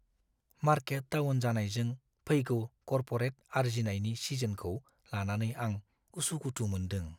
Market down जानायजों फैगौ corporate आर्जिनायनि सिजनखौ लानानै आं उसुखुथु मोनदों।